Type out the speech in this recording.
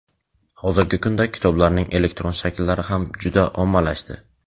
Hozirgi kunda kitoblarning elektron shakllari ham juda ommalashdi.